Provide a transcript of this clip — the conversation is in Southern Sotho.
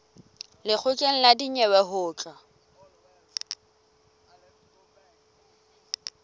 lekgotleng la dinyewe ho tla